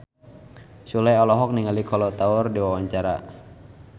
Sule olohok ningali Kolo Taure keur diwawancara